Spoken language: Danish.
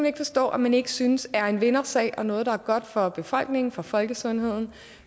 ikke forstå at man ikke synes er en vindersag og noget der er godt for befolkningen for folkesundheden